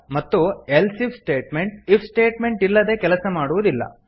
ಮತ್ತು else if statement if statement ಇಲ್ಲದೆ ಕೆಲಸ ಮಾಡುವುದಿಲ್ಲ